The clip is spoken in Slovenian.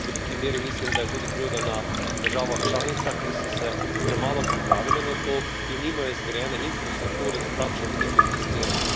V veliki meri mislim, da je tudi krivda na državah članicah, ki so se premalo pripravile na to in nimajo zgrajene infrastrukture za takšen tip investiranja.